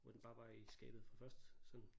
Hvor den bare var i skabet fra først sådan